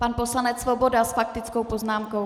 Pan poslanec Svoboda s faktickou poznámkou.